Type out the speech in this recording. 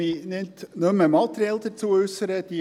Ich möchte mich nicht mehr materiell dazu äussern;